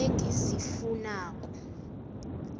engizifunako